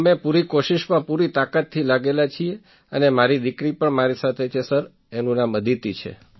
અમે પૂરી કોશિશમાં પૂરી તાકાતથી લાગેલા છીએ અને મારી દીકરી પણ મારી સાથે છે સર અદિતિ